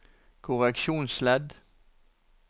korreksjonsledd